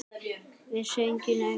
Vissi enginn neitt?